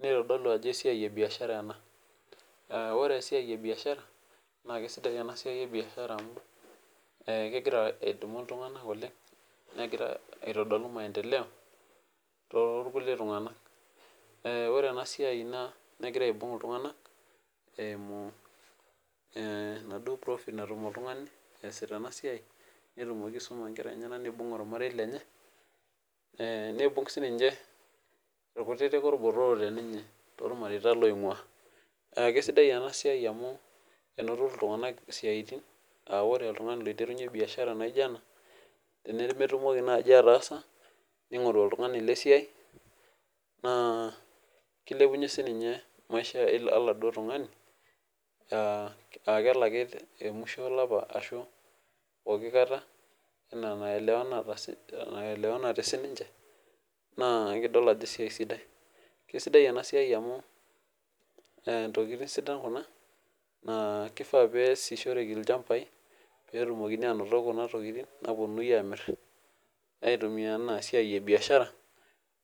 nitodolu ajo esiai ebiashara ena. ore esiai ebiashara, naa kesidai ena siai ebiashara amu kegira adumu iltunganak oleng. negira aitodolu maendeleo .ore ena siai negira aibung' iltunganak. ebaduo profit neibung' sii ninche ilkutitik olbotorok teninye .toolmareita loingua. keisidai ena siai amu, enoto iltunganak isiatin aa ore oltungani oiterunye biashara naijo ena, tenemetumoki naaji ataasa, ningoru oltungani lesiai. naa kilepunye sii ninye maisha oldau tungani. nkiraki elaki te musho olapa, anaa emaelewanate sii ninche. naa ekidol ajo esiai sidai. kesisidai ena siai amu ntokitin sidan ena. ore pee sishoreki ilchampai. netumokini aanoto Kuna tokitin naapuonunui aamir. aitumia anaa esiai ebiashara.